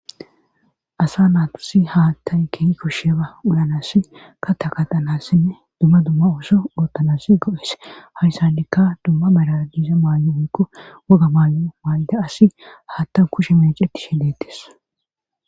asa naasi haattay kehi kusheba ulanas ka takaqanassinne dumma dumma ooso oottanasi go7es hawyssandikka dumma maladiiza maan7o oyko woga maan7o mayda asi haattaw kushe meeceti shedeetes